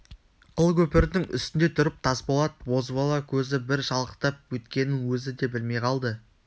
қылкөпірдің үстінде тұрып тасболат бозбала көзі бір шалықтап өткенін өзі де білмей қалды